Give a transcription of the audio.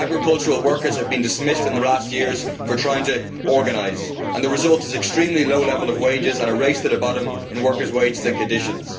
Agricultural workers have been dismissed in recent years for trying to form an organisation, and the result is an extremely low level of wages and a race to the bottom in workers' wages and conditions.